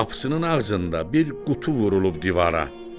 Qapısının ağzında bir qutu vurulub divara.